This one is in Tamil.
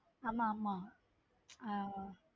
ஆமா ஆம ஹம்